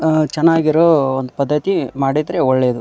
ಅಹ್ ಚನ್ನಾಗಿರೋ ಒಂದು ಪದ್ಧತಿ ಮಾಡಿದ್ರೆ ಒಳ್ಳೇದು.